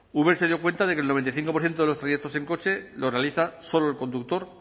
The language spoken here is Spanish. uber se dio cuenta de que el noventa y cinco por ciento de los trayectos en coche lo realiza solo el conductor